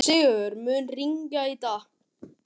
Sigurður, mun rigna í dag?